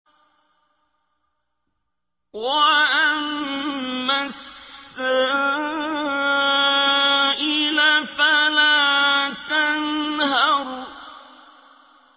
وَأَمَّا السَّائِلَ فَلَا تَنْهَرْ